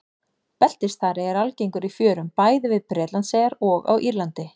Beltisþari er algengur í fjörum bæði við Bretlandseyjar og á Írlandi.